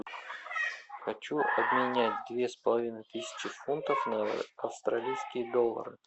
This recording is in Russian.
хочу обменять две с половиной тысячи фунтов на австралийские доллары